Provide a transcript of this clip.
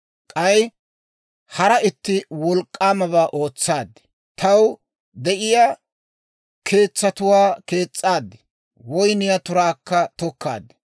K'ay hara itti wolk'k'aamabaa ootsaad; taw de'iyaa keetsatuwaa kees's'aad; woyniyaa turaakka tokkaad.